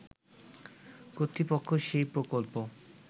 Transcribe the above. কর্তৃপক্ষ সেই প্রকল্প